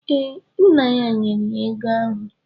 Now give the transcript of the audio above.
Ee, nna ya nyere ya ego ahụ.